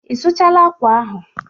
Ị sụchala akwa ahụ?